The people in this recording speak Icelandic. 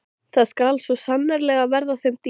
Það skal svo sannarlega verða þeim dýrt!